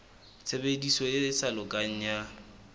tshebediso e sa lokang ya